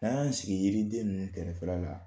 N'an y'an sigi yiriden ninnu kɛrɛfɛla la